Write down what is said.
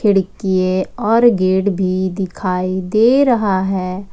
खिड़कीये और गेट भी दिखाई दे रहा है।